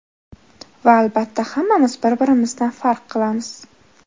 Va albatta hammamiz bir-birimizdan farq qilamiz!